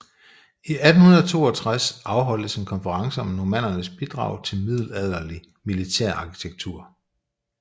I 1862 afholdtes en konference om Normannernes bidrag til middelalderlig militærarkitektur